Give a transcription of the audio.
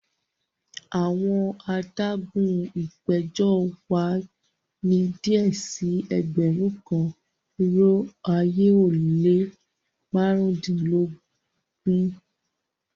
Awọn àdàgún ìpẹjọ wa ni díẹ̀ sí ẹgbérùn kan irò ayé o le màrundinlọ́gọ́ta